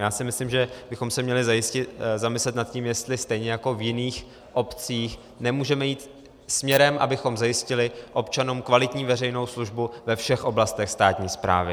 Já si myslím, že bychom se měli zamyslet nad tím, jestli stejně jako v jiných obcích nemůžeme jít směrem, abychom zajistili občanům kvalitní veřejnou službu ve všech oblastech státní správy.